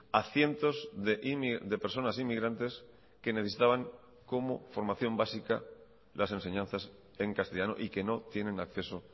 a cientos de personas inmigrantes que necesitaban como formación básica las enseñanzas en castellano y que no tienen acceso